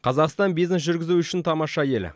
қазақстан бизнес жүргізу үшін тамаша ел